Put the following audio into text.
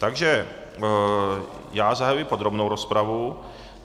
Takže já zahajuji podrobnou rozpravu.